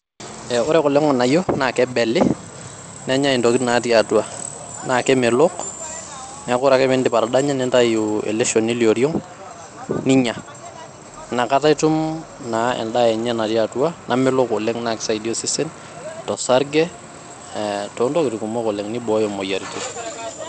Ee ore kulo nganayio naa kebeli ,nenyae intokitin naati atua ,naa kemelok niaku ore ake pindip atadanya nintayu ele shoni lioring ninya. inakata itum endaa enye naa natii atua namelok oleng naa kisaidia osesen ,osarge ee too ntokitin kumok oleng ,nibooyo moyiaritin .